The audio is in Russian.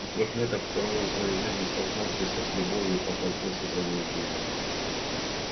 и трёхлеток впервые в своей жизни столкнувшийся с любовью поплатился за нее жизнью